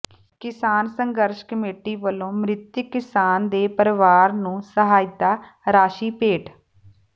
ਕਿਸਾਨ ਸੰਘਰਸ਼ ਕਮੇਟੀ ਵਲੋਂ ਮਿ੍ਤਕ ਕਿਸਾਨ ਦੇ ਪਰਿਵਾਰ ਨੂੰ ਸਹਾਇਤਾ ਰਾਸ਼ੀ ਭੇਟ